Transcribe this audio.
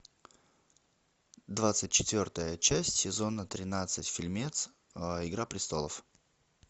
двадцать четвертая часть сезона тринадцать фильмец игра престолов